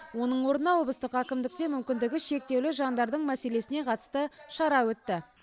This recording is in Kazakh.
оның орнына облыстық әкімдікте мүмкіндігі шектеулі жандардың мәселесіне қатысты шара өтті